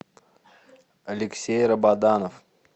алексей рабаданов